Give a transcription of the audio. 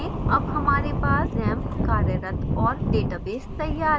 अब हमारे पास xampp कार्यरत और database तैयार है